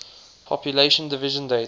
population division date